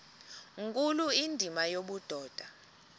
nkulu indima yobudoda